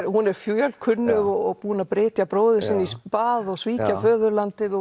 hún er fjölkunnug og er búin að brytja bróður sinn í spað og svíkja föðurlandið og